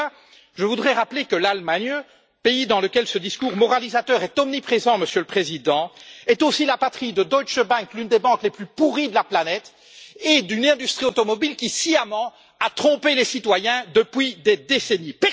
À ceux là, je voudrais rappeler que l'Allemagne, pays dans lequel ce discours moralisateur est omniprésent, Monsieur le Président, est aussi la patrie de Deutsche Bank, l'une des banques les plus pourries de la planète et d'une industrie automobile qui a sciemment trompé les citoyens depuis des décennies.